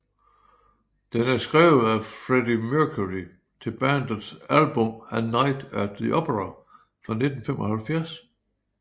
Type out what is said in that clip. Den er skrevet af Freddie Mercury til bandets album A Night at the Opera fra 1975